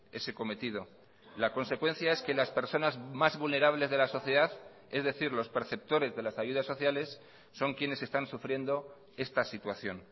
ese cometido la consecuencia es que las personas más vulnerables de la sociedad es decir los perceptores de las ayudas sociales son quienes están sufriendo esta situación